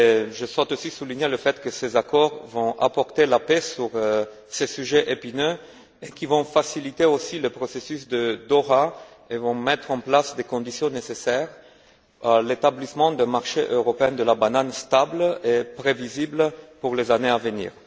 Je souhaite aussi souligner que ces accords vont apporter la paix sur ce sujet épineux et qu'ils vont aussi faciliter le processus de Doha et vont mettre en place les conditions nécessaires à l'établissement d'un marché européen de la banane stable et prévisible pour les années à venir.